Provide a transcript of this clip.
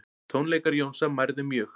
Tónleikar Jónsa mærðir mjög